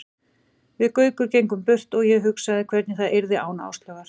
Við Gaukur gengum burt og ég hugsaði hvernig það yrði án Áslaugar.